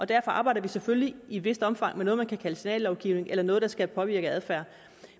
derfor arbejder vi selvfølgelig i et vist omfang med noget man kan kalde signallovgivning eller noget der skal påvirke adfærd